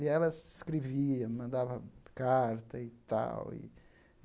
E ela escrevia, mandava carta e tal e.